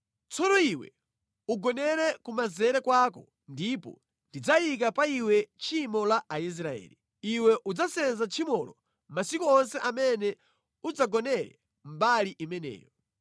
“Tsono iwe ugonere kumanzere kwako ndipo ndidzayika pa iwe tchimo la Aisraeli. Iwe udzasenza tchimolo masiku onse amene udzagonere mbali imeneyo.